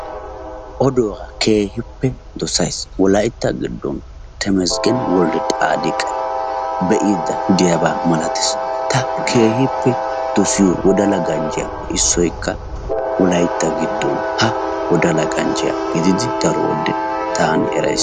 Oduwaa keehippe dosays. Wolaytta giddon Temesgene Woldexaadiqa be'aydda de'iyaaba malatees. ta keehippe dossiyo wodala ganjjiyaappe issoykkaWolaytta giddon ha wodala ganjjiyaa gididi Wolaytta giddon daro wode kase taani erays.